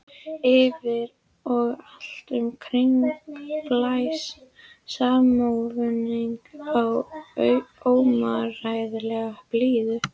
Yfir og allt um kring blæs saxófónninn af óumræðilegri blíðu.